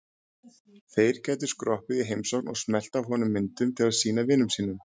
Þeir gætu skroppið í heimsókn og smellt af honum myndum til að sýna vinum sínum.